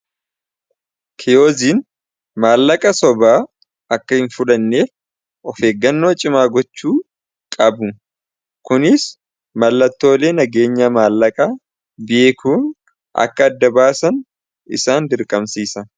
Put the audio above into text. kiyoziin maallaqa sobaa akka hin fudhanneef of eeggannoo cimaa gochuu qabu kunis mallattoolee nageenya maallaqa bi'eekuun akka adda baasan isaan dirqamsiisa